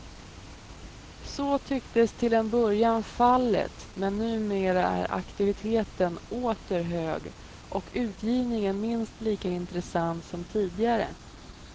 Så tycktes till en början fallet men numera är aktiviteten åter hög och utgivningen minst lika intressant som tidigare.